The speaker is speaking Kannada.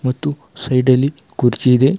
ಮತ್ತು ಸೈಡ ಲಿ ಕುರ್ಚಿ ಇದೆ.